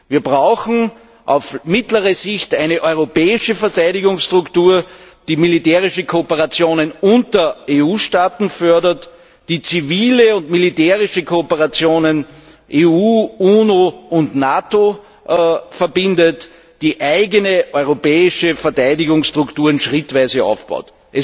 Wir brauchen auf mittlere Sicht eine europäische Verteidigungsarchitektur, die militärische Kooperationen zwischen EU Staaten fördert, die zivile und militärische Kooperationen zwischen EU, UNO und NATO verbindet, die eigene europäische Verteidigungsstrukturen schrittweise aufbaut.